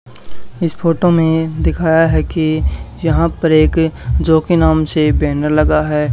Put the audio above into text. इस फोटो में दिखाया है कि यहां पर एक जॉकी नाम से बैनर लगा है।